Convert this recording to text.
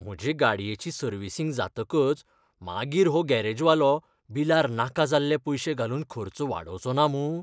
म्हजे गाडयेची सर्विसींग जातकच मागीर हो गॅरेजवालो बिलार नाका जाल्ले पयशे घालून खर्च वाडोवचो ना मूं!